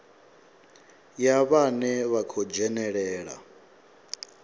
ya vhane vha khou dzhenelela